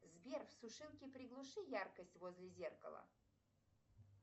сбер в сушилке приглуши яркость возле зеркала